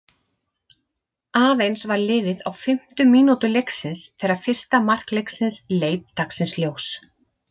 Aðeins var liðið á fimmtu mínútu leiksins þegar fyrsta mark leiksins leit dagsins ljós.